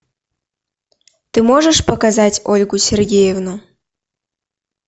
ты можешь показать ольгу сергеевну